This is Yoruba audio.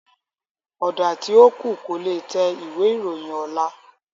Ọ̀dà tí ó kù, kò le tẹ ìwé ìròyìn ọ̀la